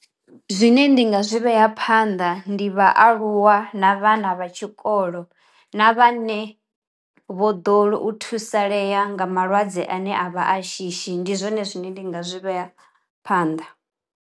Zwine ndi nga zwi vhea phanḓa ndi vhaaluwa na vhana vha tshikolo na vhane vho ḓo u thusalea nga malwadze ane a vha a shishi. Ndi zwone zwine ndi nga zwi vhea phanḓa.